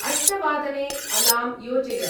अष्टवादने अलार्म् योजय।